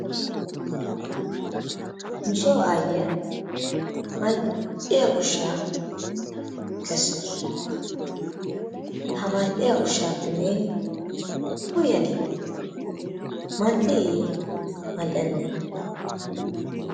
Nusoo aayiya mal'iya ushshaa kessawusu, ha mal'iya ushaappe neeni uyadi mal'iiye mal"ennee?